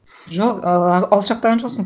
жоқ ыыы алшақтаған жоқсын